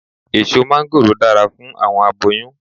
Eso máńgòrò dara fun awọn aboyun